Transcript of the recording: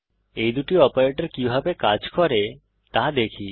এই দুটি অপারেটর কিভাবে কাজ করে তা দেখি